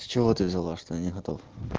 с чего ты взяла что я не готов